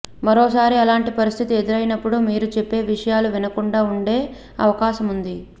మరోసారి అలాంటి పరిస్థితి ఎదురైనప్పుడు మీరు చెప్పే విషయాలు వినకుండా ఉండే అవకాశముంది